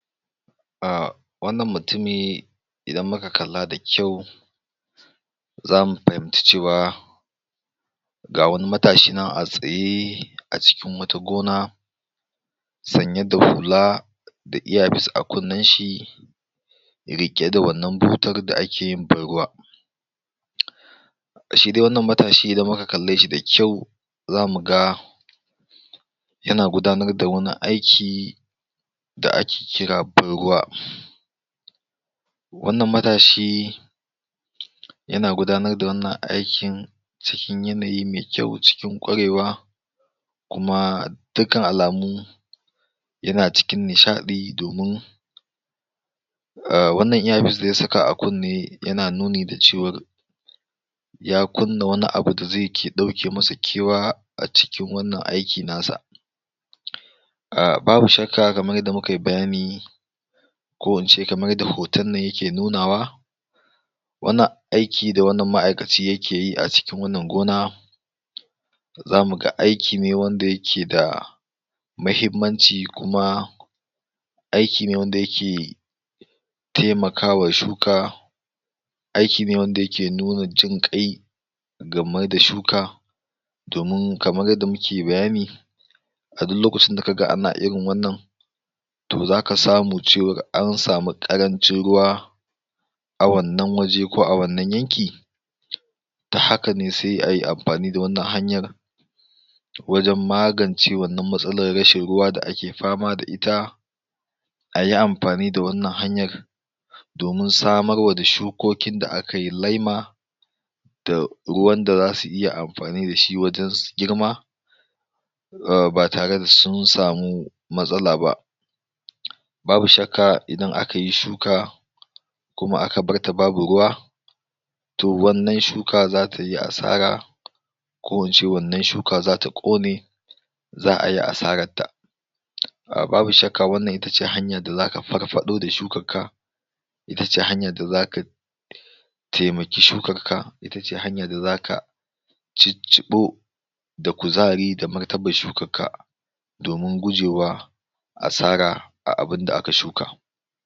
ahh wannan mutumi idan muka kalla da kyau zamu fahimci cewa ga wani matashi nan a tsaye a cikin wata gona sanye da hula da earpiece a kunnen shi riƙe da wannan butar da ake yin ban ruwa shi dai wannan matashi idan muka kalle shi da kyau zamu ga yana gudanar da wani aiki da ake kira ban ruwa wannan matashi yana gudanar da wannan aikin cikin yanayi me kyau cikin ƙwarewa kuma dukkan alamu yana cikin nishaɗi domin wannan earpiece da ya saka a kunne yana nuni da cewar ya kunna wani abu da ze ke ɗauke masa kewa a cikin wannan aiki na sa babu shakka kamar yadda muka yi bayani ko in ce kamar yadda hoton nan yake nunawa wannan aiki da wannan ma'aikaci yake yi a cikin wannan gona zamu ga aiki ne wanda yake da mahimmanci kuma aiki ne wanda yake temakawa shuka aiki ne wanda yake nuna jin ƙai game da shuka domin kamar yadda muke bayani a duk lokacin da ka ga ana irin wannan to zaka samu cewar an samu ƙarancin ruwa a wannan waje ko a wannan yanki ta haka ne se ayi amfani da wannan hanyar wajen magance wannan matsalar rashin ruwa da ake fama da ita ayi amfani da wannan hanyar domin samarwa da shukokin da akayi lema da ruwan da zasu iya amfani da shi wajen su girma ba tare da sun samu matsala ba babu shakka idan akayi shuka kuma aka barta babu ruwa to wannan shuka zata yi asara ko in ce wannan shuka zata ƙone za'a yi asarar ta babu shakka wannan ita ce hanyar da zaka farfaɗo da shukar ka ita ce hanyar da zaka temaki shukar ka ita ce hanya da zaka cicciɓo da kuzari da martabar shukar ka domin gujewa asara a abunda aka shuka